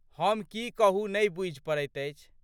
हम की कहू नहि बूझि पड़ैत अछि।